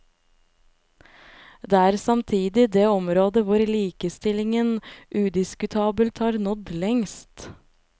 Det er samtidig det området hvor likestillingen udiskutabelt har nådd lengst.